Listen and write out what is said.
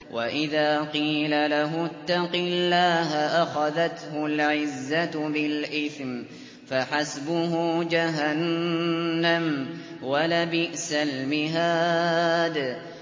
وَإِذَا قِيلَ لَهُ اتَّقِ اللَّهَ أَخَذَتْهُ الْعِزَّةُ بِالْإِثْمِ ۚ فَحَسْبُهُ جَهَنَّمُ ۚ وَلَبِئْسَ الْمِهَادُ